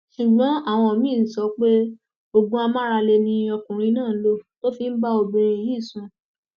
ṣùgbọn àwọn míín ń sọ pé oògùn amáralé ni ọkùnrin náà lò tó fi bá obìnrin yìí sùn